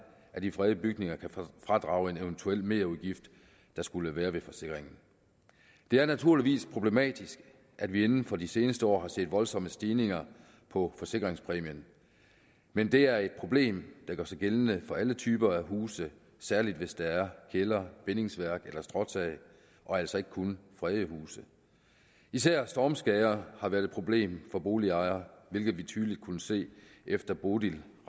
af de fredede bygninger kan fradrage en eventuel merudgift der skulle være ved forsikringen det er naturligvis problematisk at vi inden for de seneste år har set voldsomme stigninger på forsikringspræmien men det er et problem der gør sig gældende for alle typer huse særlig hvis der er kælder bindingsværk eller stråtag og altså ikke kun fredede huse især stormskader har været et problem for boligejere hvilket vi tydeligt kunne se efter bodil